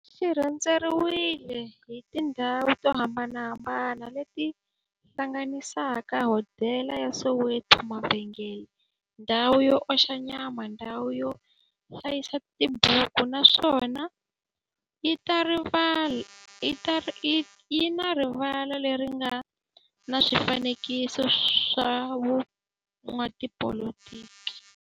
xi rhendzeriwile hi tindhawu to hambanahambana le ti hlanganisaka, hodela ya Soweto-mavhengele-ndhawu yo oxa nyama-ndhawu yo hlayisa tibuku, naswona yi na rivala le ri nga na swifanekiso swa vo n'watipolitiki.